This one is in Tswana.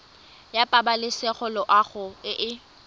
ya pabalesego loago e e